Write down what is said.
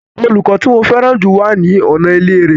Olùkọ́ tí mo fẹ́ràn jù wà ní ọ̀nà ilé rẹ̀